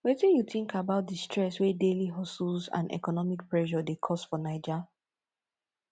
wetin you think about di stress wey daily hustles and economic pressure dey cause for naija